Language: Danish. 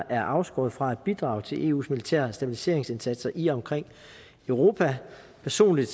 er afskåret fra at bidrage til eus militære stabiliseringsindsatser i og omkring europa personligt